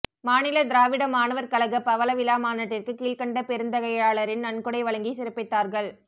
மாநில திராவிட மாணவர் கழக பவள விழா மாநாட்டிற்கு கீழ்க்கண்ட பெருந்தகையாளரின் நன்கொடை வழங்கி சிறப்பித்தார்கள்